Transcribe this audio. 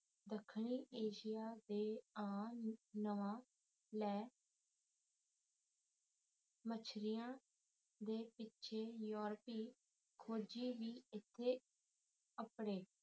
ਦੱਖਣੀ ਏਸ਼ੀਆ ਦੇ ਆ ਨਵਾ ਲੈ ਮਛੇਰਿਆਂ ਦੇ ਪਿੱਛੇ ਯੂਰਪੀ ਖੋਜੀ ਵੀ ਇੱਥੇ ਅੱਪੜੇ